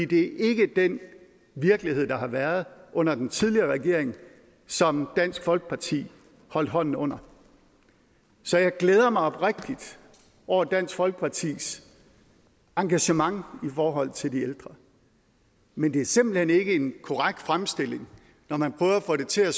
det er ikke den virkelighed der har været under den tidligere regering som dansk folkeparti holdt hånden under så jeg glæder mig oprigtigt over dansk folkepartis engagement i forhold til de ældre men det er simpelt hen ikke en korrekt fremstilling når man prøver at få det til at